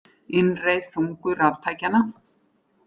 Innreið þungu raftækjanna